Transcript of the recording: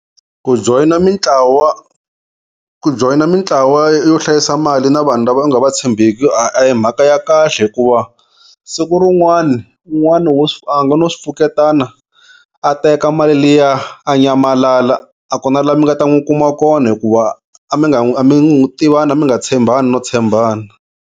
Ku joyina mitlawa ku joyina mitlawa yo hlayisa mali na vanhu lava u nga va tshembeki a hi mhaka ya kahle hikuva siku rin'wana un'wani wo a nga no swi pfuketana a teka mali liya a nyamalala a ku na laha mi nga ta n'wi kuma kona hikuva a mi nga tivani a mi nga tshembani no tshembana.